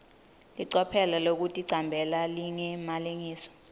licophelo lekuticambela lingemalengiso